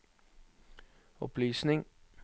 opplysning